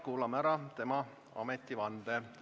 Kuulame ära tema ametivande.